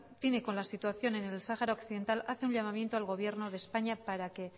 tiene con la situación en el sahara occidental hace un llamamiento al gobierno de españa para que